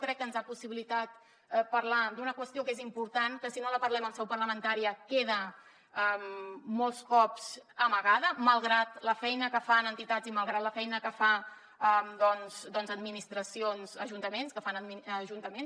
crec que ens ha possibilitat parlar d’una qüestió que és important que si no la parlem en seu parlamentària queda molts cops amagada malgrat la feina que fan entitats i malgrat la feina que fan administracions ajuntaments